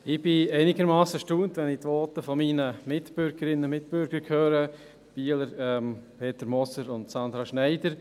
Ich bin einigermassen erstaunt, wenn ich die Voten meiner Mitbürgerinnen und Mitbürger höre, den Bielern Peter Moser und Sandra Schneider.